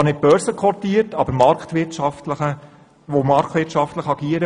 Sie ist zwar nicht börsenkotiert, aber sie muss trotzdem marktwirtschaftlich agieren.